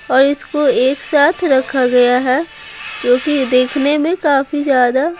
और इसको एक साथ रखा गया है जो कि देखने में काफी ज्यादा--